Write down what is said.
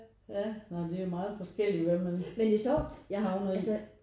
Ja nej men det er jo meget forskellig hvad man havner i